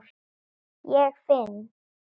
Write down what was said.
Ég finn